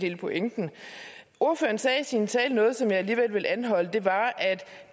hele pointen ordføreren sagde i sin tale noget som jeg alligevel vil anholde det var at